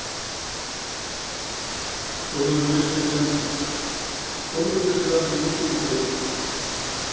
Þórður vissi það sem enginn mátti vita.